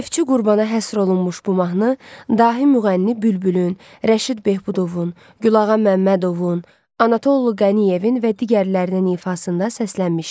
Neftçi Qurbana həsr olunmuş bu mahnı dahi müğənni Bülbülün, Rəşid Behbudovun, Gülağa Məmmədovun, Anatollu Qəniyevin və digərlərinin ifasında səslənmişdi.